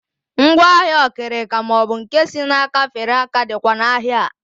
Ngwaahịa okirika maọbụ nke si n'aka fere aka dịkwa n'ahịa a